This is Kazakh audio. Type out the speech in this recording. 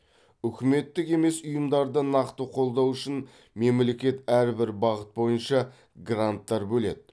үкіметтік емес ұйымдарды нақты қолдау үшін мемлекет әрбір бағыт бойынша гранттар бөледі